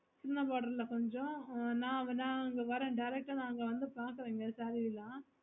சின்ன border ல கொஞ்சம் ந வென அங்க வரேன் வந்து பாக்குரேன்ங்க saree ல